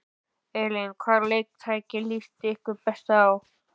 Elín: Hvaða leiktæki líst ykkur best á?